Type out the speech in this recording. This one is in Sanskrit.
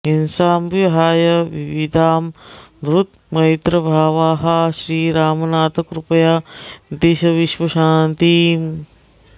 हिंसां विहाय विविधां धृतमैत्रभावाः श्रीरामनाथ कृपया दिश विश्वशान्तिम्